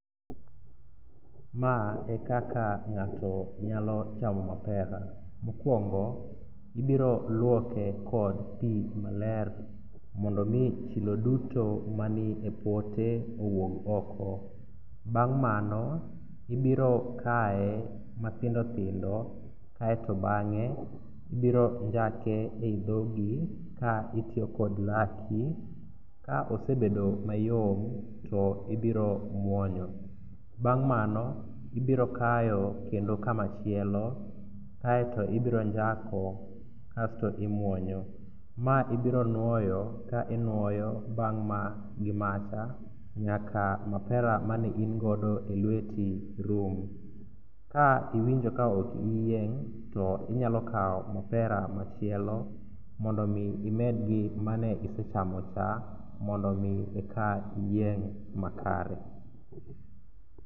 Ma ekaka ng'ato nyalo chamo mapera. Mokwongo ibiroluoke kod pi maler mondo omi chilo duto mani e pote owuog oko. Bang' mano ibiro kae mathindothindo kaeto bang'e ibironjake e i dhogi ka itiyo kod laki ka osebedo mayom to ibiro muonyo. Bang' mano ibiro kayo kendo kamachielo kaeto ibiro njako kasto imuonyo. Ma ibironuoyo ka inuoyo bang' ma gimacha nyaka mapera mane ingodo e lweti rum. Ka iwinjo kaok iyieng' to inyalo kawo mapera machielo mondo omi imedgi mane isechamocha mondo omi eka iyieng' makare.